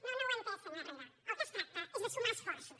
no no ho ha entès senyor herrera del que es tracta és de sumar esforços